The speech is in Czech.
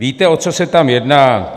Víte, o co se tam jedná?